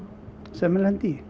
sem maður lendir í